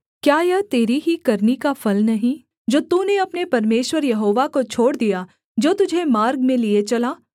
क्या यह तेरी ही करनी का फल नहीं जो तूने अपने परमेश्वर यहोवा को छोड़ दिया जो तुझे मार्ग में लिए चला